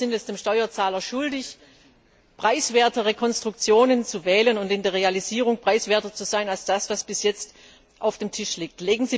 Ich glaube, wir sind es dem Steuerzahler schuldig, preiswertere Konstruktionen zu wählen und in der Realisierung preiswerter zu sein als das, was bis jetzt auf dem Tisch liegt.